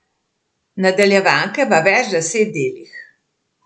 Nadaljevanke v več deset delih.